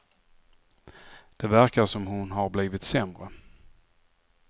Det verkar som hon har blivit sämre.